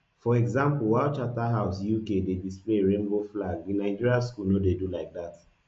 for example while charterhouse uk dey display a rainbow flag di nigeria school no dey do like dat